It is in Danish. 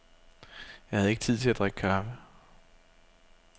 Jeg havde ikke tid til at drikke kaffe.